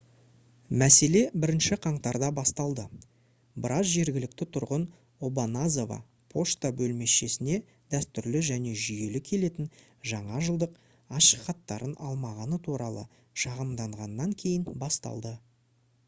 мәселе 1-ші қаңтарда басталды біраз жергілікті тұрғын обаназава пошта бөлімшесіне дәстүрлі және жүйелі келетін жаңа жылдық ашықхаттарын алмағаны туралы шағымданғаннан кейін басталды